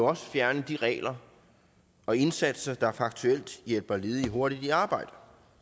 også fjerne de regler og indsatser der faktuelt hjælper ledige hurtigt i arbejde